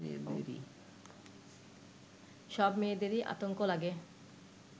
সব মেয়েদেরই আতঙ্ক লাগে